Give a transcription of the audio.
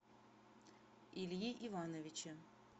ильи ивановича